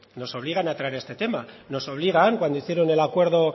a entrar en este tema nos obligan cuando hicieron el acuerdo